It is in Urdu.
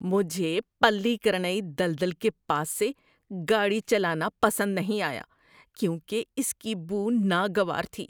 مجھے پلی کرنئی دلدل کے پاس سے گاڑی چلانا پسند نہیں آیا کیونکہ اس کی بو ناگوار تھی۔